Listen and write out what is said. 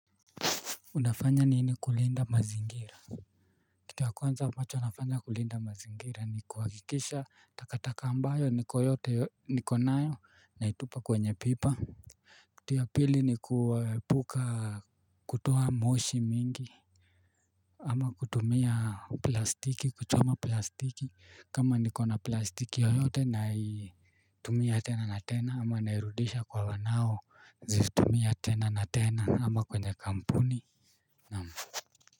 Unafanya nini kulinda mazingira. Kitu ya kwanza ambacho nafanya kulinda mazingira ni kuhakikisha takataka ambayo niko yote nikonayo naitupa kwenye pipa. Kitu ya pili ni kuepuka kutoa moshi mingi ama kutumia plastiki kuchoma plastiki kama nikona plastiki yoyote naitumia tena na tena ama nairudisha kwa wanao zitumia tena na tena ama kwenye kampuni. Naam.